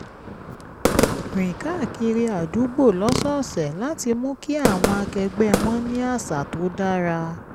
rìn káàkiri àdúgbò lọ́sọ̀ọ̀sẹ̀ láti mú kí àwọn akẹgbẹ́ wọn ní àwọn àṣà tó dára